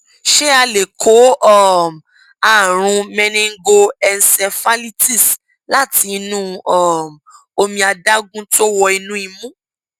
ṣé a lè kó um àrùn meningoencephalitis láti inú um omi adágún tó wọ inú imú